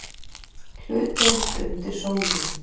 HLUTDEILD UNDIR SÓLINNI